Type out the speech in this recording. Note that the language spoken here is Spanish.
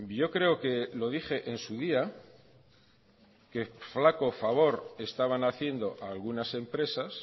yo creo que lo dije en su día que flaco favor estaban haciendo algunas empresas